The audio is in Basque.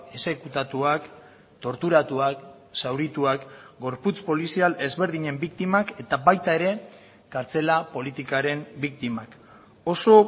exekutatuak torturatuak zaurituak gorputz polizial ezberdinen biktimak eta baita ere kartzela politikaren biktimak oso